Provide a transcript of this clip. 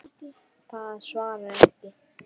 Það svarar ekki.